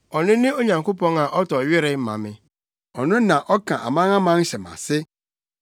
Ɔno ne Onyankopɔn a ɔtɔ were ma me, ɔno na ɔka amanaman hyɛ mʼase,